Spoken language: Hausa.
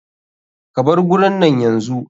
Ka bar gurin nan yanzu.